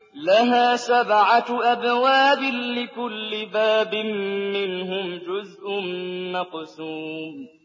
لَهَا سَبْعَةُ أَبْوَابٍ لِّكُلِّ بَابٍ مِّنْهُمْ جُزْءٌ مَّقْسُومٌ